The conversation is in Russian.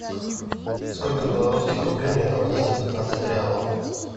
сколько белорусских рублей мне должны за пятнадцать реалов